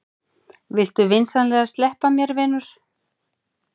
Viltu vinsamlegast sleppa mér, vinur!